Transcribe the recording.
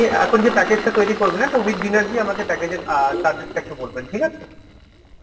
এখন যে package টা তৈরি করবেন একটা with dinner দিয়ে আমাকে package এর অ্যাঁ charges টা একটু বলবেন ঠিক আছে?